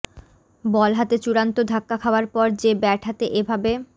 বল হাতে চূড়ান্ত ধাক্কা খাওয়ার পর যে ব্যাট হাতে এ ভাবে